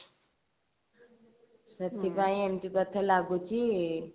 ସେଥିପାଇଁ ଏମତି ବୋଧେ ଲାଗୁଛି